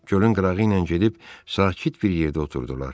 Gölün qırağı ilə gedib sakit bir yerdə oturdular.